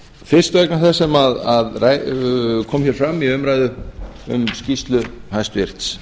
fyrst vegna þess sem kom hér fram um í umræðu um skýrslu hæstvirtur